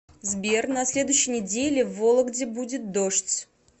сбер на следующей неделе в вологде будет дождь